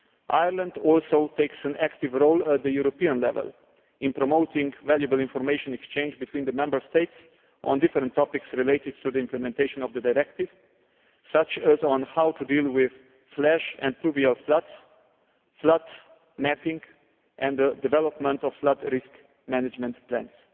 Ireland also takes an active role at the European level in promoting valuable information exchange between the Member States on different topics related to the implementation of the directive, such as on how to deal with flash and pluvial floods, flood mapping and development of flood risk management plans.